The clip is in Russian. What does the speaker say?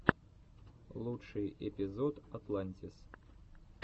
лучший эпизод атлантис